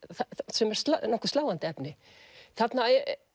sem er nokkuð sláandi efni þarna